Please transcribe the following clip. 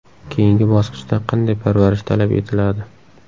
Keyingi bosqichda qanday parvarish talab etiladi?